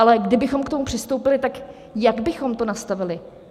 Ale kdybychom k tomu přistoupili, tak jak bychom to nastavili?